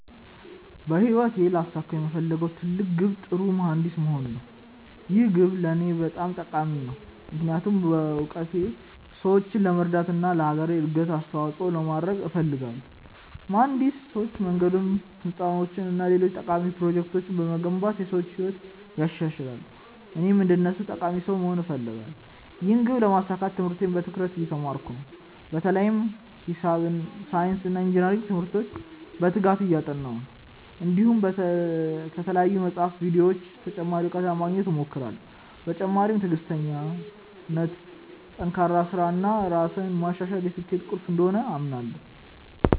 በህይወቴ ላሳካው የምፈልገው ትልቅ ግብ ጥሩ መሀንዲስ መሆን ነው። ይህ ግብ ለእኔ በጣም ጠቃሚ ነው፣ ምክንያቱም በእውቀቴ ሰዎችን ለመርዳት እና ለአገሬ እድገት አስተዋፅኦ ለማድረግ እፈልጋለሁ። መሀንዲሶች መንገዶች፣ ህንፃዎች እና ሌሎች ጠቃሚ ፕሮጀክቶችን በመገንባት የሰዎችን ህይወት ያሻሽላሉ፣ እኔም እንደነሱ ጠቃሚ ሰው መሆን እፈልጋለሁ። ይህን ግብ ለማሳካት ትምህርቴን በትኩረት እየተማርኩ ነው፣ በተለይም ሂሳብ፣ ሳይንስ እና ኢንጅነሪንግ ትምህርቶችን በትጋት እያጠናሁ ነው። እንዲሁም ከተለያዩ መጻሕፍትና ቪዲዮዎች ተጨማሪ እውቀት ለማግኘት እሞክራለሁ። በተጨማሪም ትዕግሥት፣ ጠንካራ ሥራ እና ራሴን ማሻሻል የስኬቴ ቁልፍ እንደሆኑ አምናለሁ።